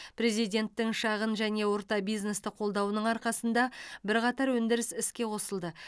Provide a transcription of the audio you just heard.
президенттің шағын және орта бизнесті қолдауының арқасында бірқатар өндіріс іске қосылды